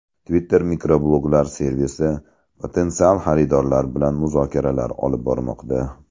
Twitter mikrobloglar servisi potensial xaridorlar bilan muzokaralar olib bormoqda.